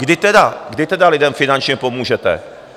Kdy tedy lidem finančně pomůžete?